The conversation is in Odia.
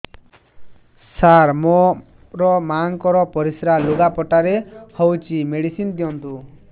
ସାର ମୋର ମାଆଙ୍କର ପରିସ୍ରା ଲୁଗାପଟା ରେ ହଉଚି ମେଡିସିନ ଦିଅନ୍ତୁ